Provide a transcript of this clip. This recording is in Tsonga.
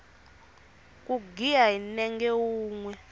ku giya hi nenge wunwe